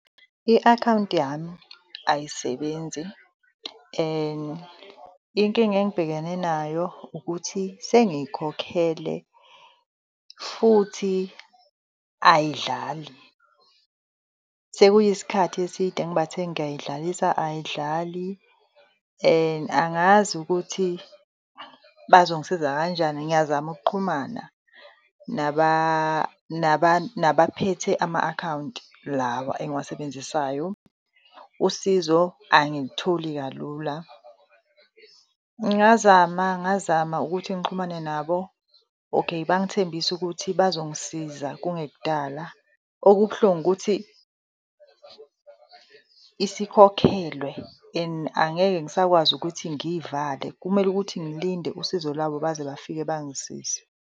I-akhawunti yami ayisebenzi and inkinga engibhekene nayo ukuthi sengiyikhokhele futhi ayidlali, sekuyisikhathi eside ngibathe ngiyayidlalisa ayidlali and angazi ukuthi bazongisiza kanjani. Ngiyazama ukuxhumana nabaphethe ama-akhawunti lawa engiwasebenzisayo usizo angilitholi kalula. Ngazama ngazama ukuthi ngixhumane nabo, okay, bangithembisa ukuthi bazongisiza kungekudala. Okubuhlungu ukuthi isikhokhelwe and angeke ngisakwazi ukuthi ngiyivale, kumele ukuthi ngilinde usizo lwabo baze bafike bangisize.